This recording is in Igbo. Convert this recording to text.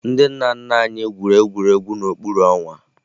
Ndị nna nna anyị gwuru egwu n'okpuru ọnwa